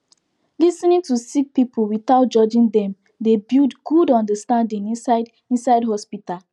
lis ten ing to sick pipul witout judging dem dey build good understanding inside inside hosptital